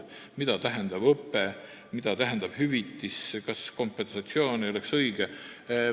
Ta küsis, mida tähendab "õpe" ja mida tähendab "hüvitis" – kas õige ei oleks "kompensatsioon"?